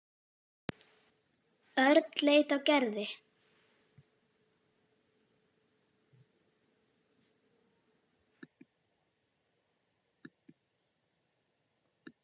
Örn leit á Gerði.